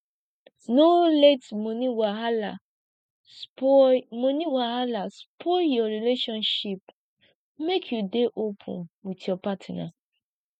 no let moni wahala spoil moni wahala spoil your relationship make you dey open with your partner